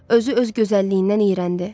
Özü öz gözəlliyindən iyrəndi.